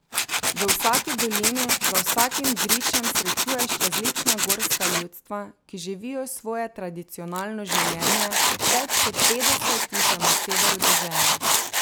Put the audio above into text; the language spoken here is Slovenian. V vsaki dolini, za vsakim gričem srečuješ različna gorska ljudstva, ki živijo svoje tradicionalno življenje, več kot petdeset jih je na severu dežele.